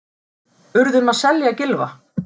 Urðum að selja Gylfa